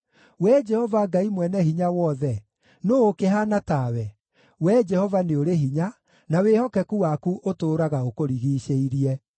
Wee Jehova Ngai Mwene-Hinya-Wothe, nũũ ũkĩhaana tawe? Wee Jehova, nĩ ũrĩ hinya, na wĩhokeku waku ũtũũraga ũkũrigiicĩirie.